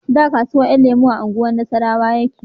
Da kasuwan 'yan lemo a unguwar nasarrawa yake